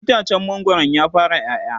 itacen mangwaron ya fara ƴaƴa?